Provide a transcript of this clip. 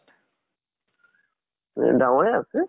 এ ডাঙৰে আছে।